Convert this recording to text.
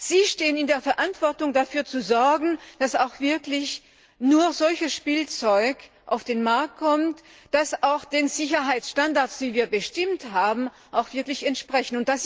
Sie stehen in der Verantwortung, dafür zu sorgen, dass nur solches Spielzeug auf den Markt kommt, das den Sicherheitsstandards, die wir bestimmt haben, wirklich entspricht.